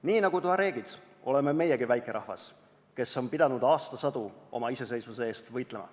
Nii nagu tuareegid, oleme meiegi väikerahvas, kes on pidanud aastasadu oma iseseisvuse eest võitlema.